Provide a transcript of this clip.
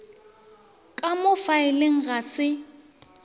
ka mo faeleng ga se